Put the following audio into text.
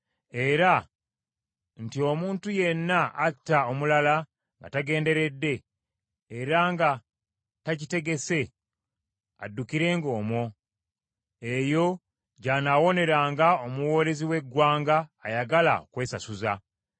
era nti omuntu yenna atta omulala nga tagenderedde era nga takitegese addukirenga omwo, eyo gy’anaawoneranga omuwoolezi w’eggwanga ayagala okwesasuza.